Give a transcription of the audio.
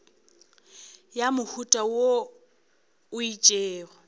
ya mohuta wo o itšego